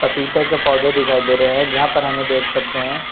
पपीते के पौधे दिखाई दे रहे हैं जहां पर हम ये देख सकते है।